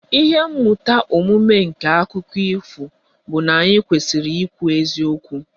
Ihe mmụta omume nke akụkọ ifo bụ na anyị kwesịrị ikwu eziokwu